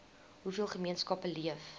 hoeveel gemeenskappe leef